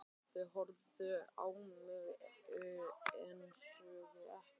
Þau horfðu á mig en sögðu ekkert.